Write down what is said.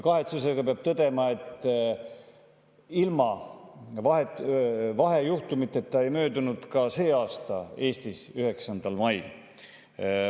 Kahetsusega peab tõdema, et ilma vahejuhtumiteta ei möödunud 9. mai Eestis ka sel aastal.